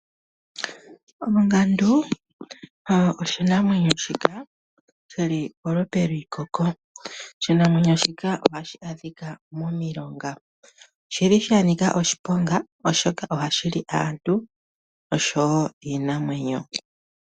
Ongandu oshinamwenyo shika shili polupe liikoko ,oshinamwenyo shika oshili hashi adhika momilonga. Oshili shanika oshiponga oshoka ohashi li aantu nosho woo iinamwenyo.